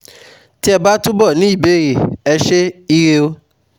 Tí ẹ bá túbọ̀ ní ìbéèrè, Ẹ ṣé, ire o